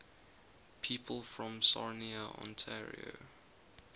people from sarnia ontario